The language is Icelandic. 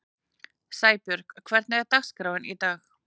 Sæbjörg, hvernig er dagskráin í dag?